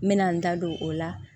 N mɛna n da don o la